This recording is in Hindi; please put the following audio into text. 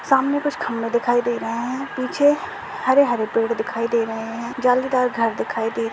सामने कुछ खंबे दिखाई दे रहा है पीछे हरे-हरे पेड़ दिखाई दे रहे है। जालीदार घर दिखाई दे रहा --